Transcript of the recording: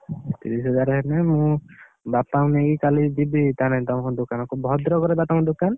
ତିରିଶିହଜାର ହେଲେ ମୁଁ ବାପାଙ୍କୁ ନେଇକି କାଲି ଯିବି ତମ ଦୋକାନକୁ। ଭଦ୍ରକରେ ବା ତମ ଦୋକାନ?